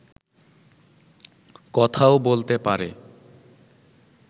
কথাও বলতে পারে